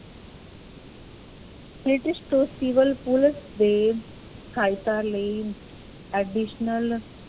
British ਤੋਂ civil police ਦੇ ਸਹਾਇਤਾ ਲਈ additional